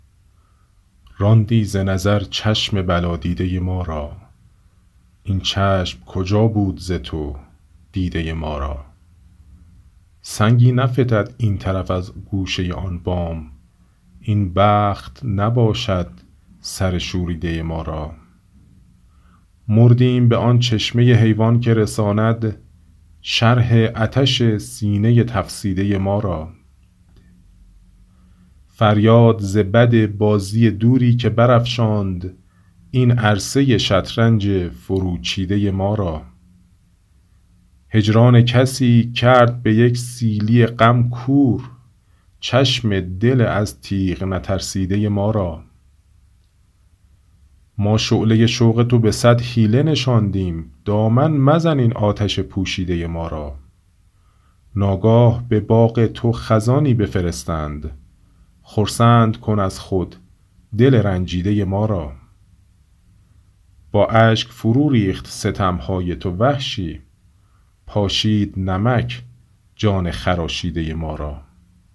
راندی ز نظر چشم بلا دیده ما را این چشم کجا بود ز تو دیده ما را سنگی نفتد این طرف از گوشه آن بام این بخت نباشد سر شوریده ما را مردیم به آن چشمه حیوان که رساند شرح عطش سینه تفسیده ما را فریاد ز بد بازی دوری که برافشاند این عرصه شطرنج فرو چیده ما را هجران کسی کرد به یک سیلی غم کور چشم دل از تیغ نترسیده ما را ما شعله شوق تو به صد حیله نشاندیم دامن مزن این آتش پوشیده ما را ناگاه به باغ تو خزانی بفرستند خرسند کن از خود دل رنجیده ما را با اشک فرو ریخت ستمهای تو وحشی پاشید نمک جان خراشیده ما را